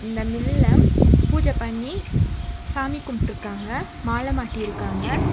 இந்த மில்ல பூஜை பண்ணி சாமி கும்பிட்ருக்காங்க மால மாட்டிருக்காங்க.